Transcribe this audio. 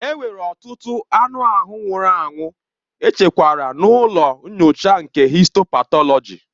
Enwere ọtụtụ anụ ahụ nwụrụ anwụ echekwara n'ụlọ nyocha nke histo patọlọji.